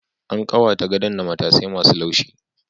An ƙawata gadon da matasai ma su laushi